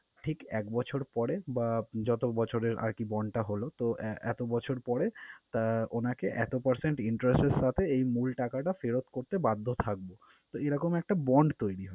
ঠিক এক বছর পরে বা যত বছরের আরকি bond টা হলো তো আহ এতো বছর পরে আহ উনাকে এতো percent interest এর সাথে এই মূল টাকাটা ফেরত করতে বাধ্য থাকবো। তো এইরকম একটা bond তৈরি।